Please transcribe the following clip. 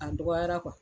A dɔgɔyara